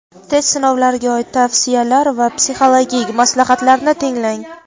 test sinovlariga oid tavsiyalar va psixologik maslahatlarni tinglang.